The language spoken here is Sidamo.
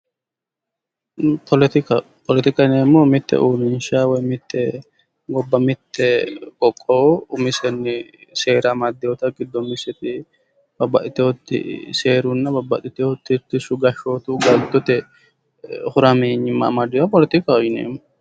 Poletika, poletika yineemmohu mitte uurinshsha ,mitte gobba mitte qoqqowu umisenni seera amadoyootta gido umiseti babbaxiteyooti seerunna babbaxiteyooti titirshu gashooti galtotte harameenyima amadeyooha poletikaho yineemmo.